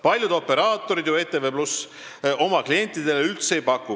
Paljud operaatorid ju ETV+ oma klientidele üldse ei paku.